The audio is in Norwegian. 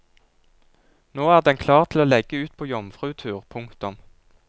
Nå er den klar til å legge ut på jomfrutur. punktum